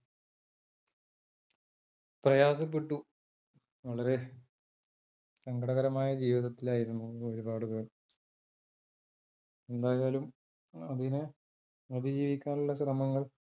പ്രയാസപ്പെട്ടു. വളരെ സങ്കടകരമായ ജീവിതത്തിലായിരുന്നു ഒരുപാട് പേർ എന്തായാലും അതിനെ അതിജീവിക്കാൻ ഉള്ള ശ്രമങ്ങൾ